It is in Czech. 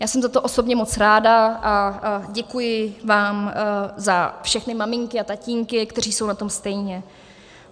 Já jsem za to osobně moc ráda a děkuji vám za všechny maminky a tatínky, kteří jsou na tom stejně.